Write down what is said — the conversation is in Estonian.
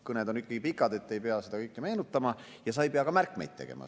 Kõned on ikkagi pikad, aga siis sa ei pea seda kõike meenutama ja sa ei pea ka märkmeid tegema.